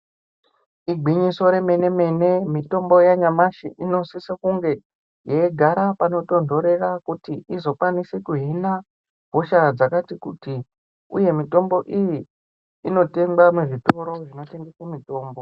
Igwinyiso remenemene mitombo yanyamashi inosiswe kunge yeigara panotonhorera kuti izokwanise kuhina hosha dzakati kuti uye mitombo iyi inotengwa muzvitoro zvinotengeswa mitombo.